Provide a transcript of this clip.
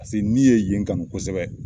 n ni ye yen kanu kosɛbɛ.